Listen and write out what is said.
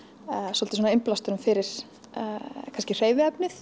svolítið svona innblásturinn fyrir kannski